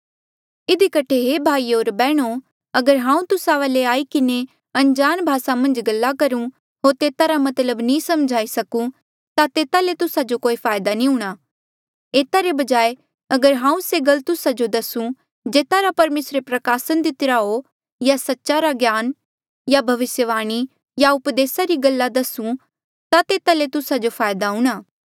इधी कठे हे भाईयो होर बैहणो अगर हांऊँ तुस्सा वाले आई किन्हें अनजाण भासा मन्झ गल्ला करूं होर तेता रा मतलब नी समझाई सकूं ता तेता ले तुस्सा जो क्या फायदा हूंणां एता रे बजाय अगर हांऊँ से गल तुस्सा जो दसु जेता रा परमेसरे प्रकासन दितिरा हो या सच्च रा ज्ञान या भविस्यवाणी या उपदेसा री गल्ला दसु ता तेता ले तुस्सा जो फायदा हूंणां